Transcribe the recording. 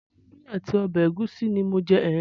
Ewédú àti ọbẹ̀ ẹ̀gúsí ni mò ń jẹ.